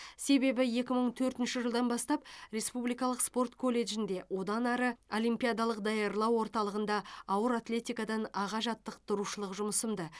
себебі екі мың төртінші жылдан бастап республикалық спорт колледжінде одан ары олимпиадалық даярлау орталығында ауыр атлетикадан аға жаттықтырушылық жұмысымды